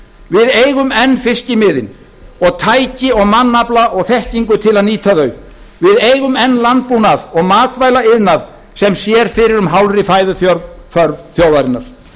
við eigum enn fiskimiðin og tæki og mannafla og þekkingu til að nýta þau við eigum enn landbúnað og matvælaiðnað sem sér fyrir um hálfri fæðuþörf þjóðarinnar